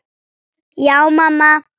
Já, mamma.